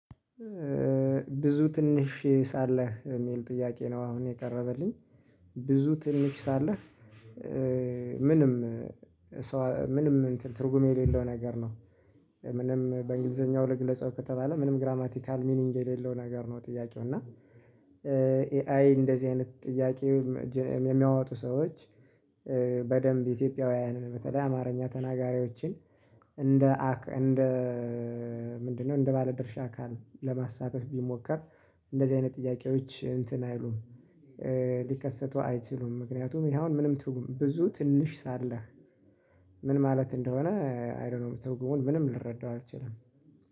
ብዙ ትንሽ ሳለ የሚል ጥያቄ ነው አሁን የቀረበልኝ። ብዙ ትንሽ ሳለ። ምንም ምንም ትርጉም የሌለው ነገር ነው። ምንም በእንግሊዘኛው ልግለጸው ከተባለ ምንም ግራማቲካል ሚኒግ የሌለው ነገር ነው። ጥያቄው እና ኤአይ እንደዚህ አይነት ጥያቄ። የሚያወጡ ሰዎች። በደንብ ኢትዮጵያውያንን በተለይ አማርኛ ተናጋሪዎችን። እንደ ምንድነው እንደ ባለድርሻ አካል ለማሳተፍ ቢሞከር። እንደዚህ አይነት ጥያቄዎች እንትን አይሉም። ሊከሰቱ አይችሉም። ምክንያቱም ይሄ አሁን ምንም ትርጉም ብዙ ትንሽ ሳለህ። ምን ማለት እንደሆነ አይ ዶን ኖ ትርጉሙን ምንም ልረዳው አልችልም